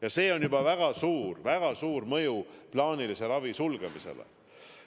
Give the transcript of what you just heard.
Ja sel on juba väga suur, väga suur mõju plaanilise ravi sulgemisele.